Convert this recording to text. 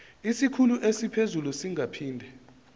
isikhulu esiphezulu singaphinde